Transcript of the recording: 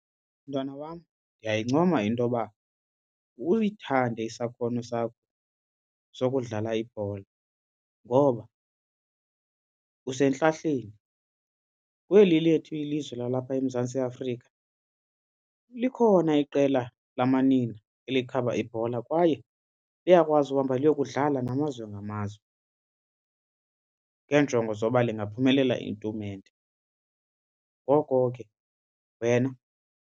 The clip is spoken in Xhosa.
Mntwana wam, ndiyayincoma intoba uyithande isakhono sakho sokudlala ibhola ngoba usentlahleni. Kweli lethu ilizwe lalapha eMzantsi Afrika likhona iqela lamanina elikhaba ibhola kwaye liyakwazi uhamba liyokudlala namazwe ngamazwe ngeenjongo zoba lingaphumelela itumente, ngoko ke wena.